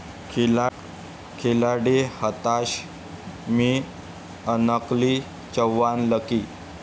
खिलाडी' हताश, 'मी unlucky, Chavan lucky'!